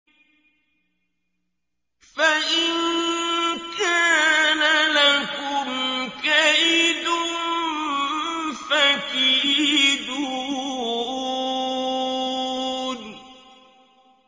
فَإِن كَانَ لَكُمْ كَيْدٌ فَكِيدُونِ